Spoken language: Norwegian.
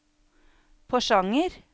Porsanger